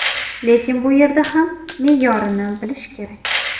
Lekin bu yerda ham me’yorini bilish kerak.